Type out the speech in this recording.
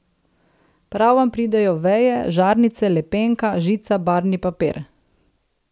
Prav vam pridejo veje, žarnice, lepenka, žica, barvni papir.